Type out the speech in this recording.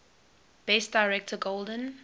best director golden